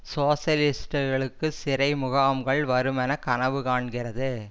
சோசலிஸ்ட்டுக்களுக்கு சிறை முகாம்கள் வருமென கனவு காண்கிறது